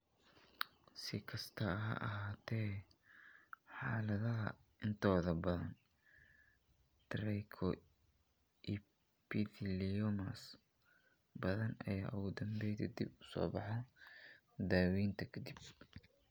Si kastaba ha ahaatee, xaaladaha intooda badan, trichoepitheliomas badan ayaa ugu dambeyntii dib u soo baxa daaweynta ka dib.